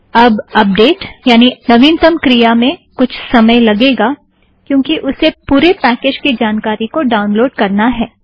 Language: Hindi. अब अपडेट यानि नवीनतम क्रिया में कुछ समय लगेगा क्योंकि उसे पूरे पैकेज़ की जानकारी को डाउनलोड़ करना है